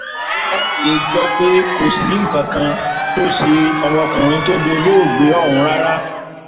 aláròye gbọ́ pé kò sí nǹkan kan tó ṣe ọmọkùnrin tó dolóògbé ọ̀hún rárá